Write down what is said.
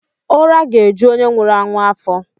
Ụra ga-eju onye nwụrụ anwụ afọ.